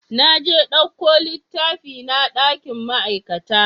Naje na ɗauko littafina dakin ma'aikata